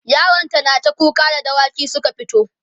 yaron ta nata kuka da dawaki Suka fito